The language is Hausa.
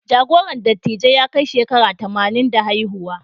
Jagoran dattijai ya kai shekara tamanin da haihuwa.